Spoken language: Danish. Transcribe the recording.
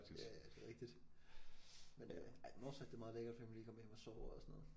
Ja ja det er rigtigt men øh ej Northside det er meget lækkert fordi man kan lige komme hjem og sove og sådan noget